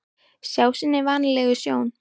Sjá sinni vanalegu sjón.